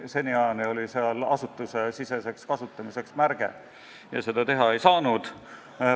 Seniajani oli seal märge "asutusesiseseks kasutamiseks" ja seda avada ei saanud.